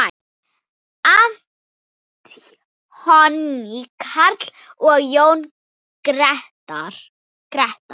Anthony Karl og Jón Gretar.